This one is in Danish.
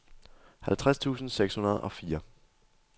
halvtreds tusind seks hundrede og fire